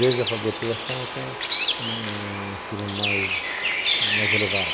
Desde alfabetização até um um ensino mais mais elevado.